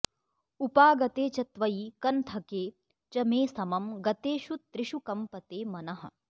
उपागते च त्वयि कन्थके च मे समं गतेषु त्रिषु कम्पते मनः